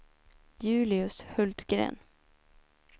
Julius Hultgren